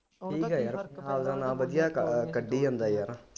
ਠੀਕ ਹੈ ਯਾਰ ਆਪਦਾ ਨਾਮ ਵਧੀਆ ਕੱਢੀ ਜਾਂਦਾ ਯਾਰ